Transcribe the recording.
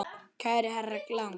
Kæri herra Lang.